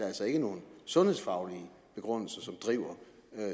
altså ikke nogen sundhedsfaglig begrundelse som driver